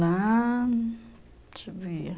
Lá... deixa eu ver...